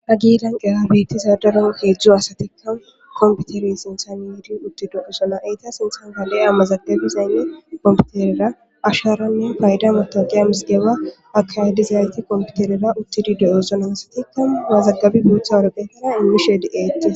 Ha giidan qera biittizadaron keejzjzo asatikka komputeri sinthan yidi uttido isolla eyta sinthan gale amazagabizaynne kompiterera asharanne payda matoqiya misidewa akaydizayti kompiterera uttidi do'eson aasatikka gaazaggabi guutha woropheetera inmishe di'eetti